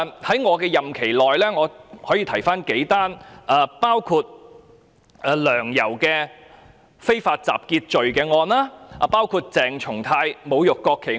在我任期內便有"梁游"的非法集結案、鄭松泰議員的侮辱國旗案。